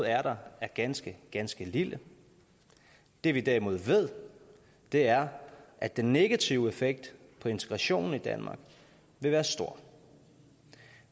er der er ganske ganske lille det vi derimod ved er at den negative effekt på integrationen i danmark vil være stor